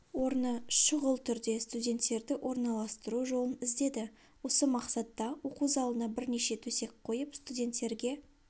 орны шұғыл түрде студенттерді орналастыру жолын іздеді осы мақсатта оқу залына бірнеше төсек қойып студенттерге